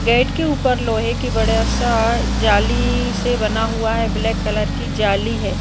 Gate के उपर लोहे की बड़ा सा जाली से बना हुआ है ब्लैक कलर की जाली है।